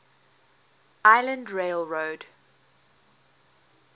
island rail road